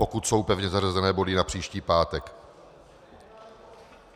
Pokud jsou pevně zařazené body na příští pátek.